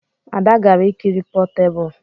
Ada gara ikiri potebụl